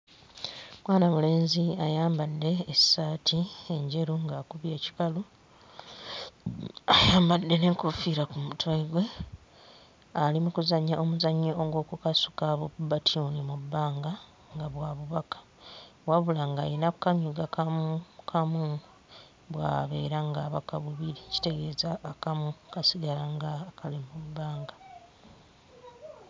Mwana mulenzi ayambadde essaati enjeru ng'akubye ekikalu, ayambadde n'enkofiira ku mutwe gwe ali mu kuzannya omuzannyo gw'okukasuka bu bbatyuni mu bbanga nga bwa bubaka, wabula ng'ayina kanyuga kamu kamu bw'abeera ng'abaka bubiri kitegeeza akamu kasigala nga akali mu bbanga.